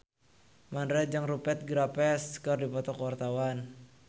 Mandra jeung Rupert Graves keur dipoto ku wartawan